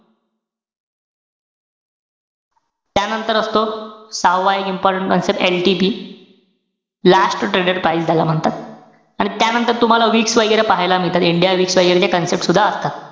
त्यांनतर असतो, सहावा एक important concept LTP last traded price ज्याला म्हणतात. आणि त्यानंतर तुम्हाला weeks वैगेरे पाहायला मिळतात. India week वैगेरे च्या concept सुद्धा असतात.